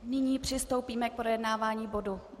Nyní přistoupíme k projednávání bodu